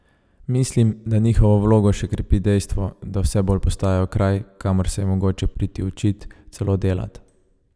Mislim, da njihovo vlogo še krepi dejstvo, da vse bolj postajajo kraj, kamor se je mogoče priti učit, celo delat.